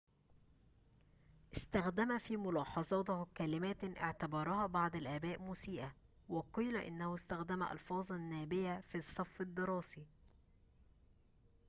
استخدم في ملاحظاته كلماتٍ اعتبرها بعض الآباء مسيئة وقيل إنه استخدم ألفاظاً نابيةً في الصف الدراسي